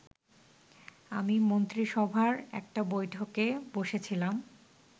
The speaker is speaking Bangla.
আমি মন্ত্রিসভার একটা বৈঠকে বসেছিলাম